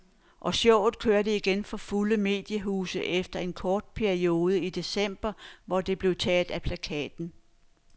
Og showet kører igen for fulde mediehuse efter en kort periode i december, hvor det blev taget af plakaten.